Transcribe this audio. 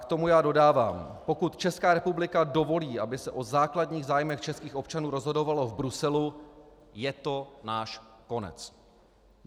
K tomu já dodávám: pokud Česká republika dovolí, aby se o základních zájmech českých občanů rozhodovalo v Bruselu, je to náš konec.